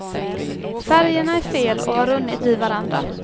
Färgerna är fel och har runnit i varandra.